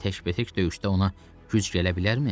Görəsən tək-bətək döyüşdə ona güc gələ bilərmi?